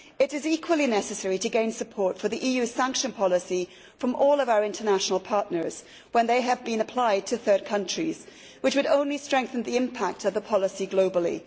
It is equally necessary to gain support for the EU sanctions policy from all of our international partners when they have been applied to third countries, which would only strengthen the impact of the policy globally.